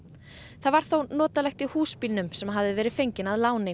það var þó notalegt í húsbílnum sem hafði verið fenginn að láni